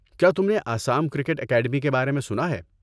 کیا تم نے آسام کرکٹ اکیڈمی کے بارے میں سنا ہے؟